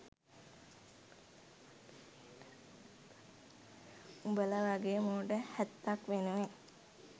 උඹල වගේ මෝඩ හැත්තක් වෙනුවෙන්.